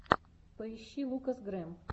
поищи лукас грэм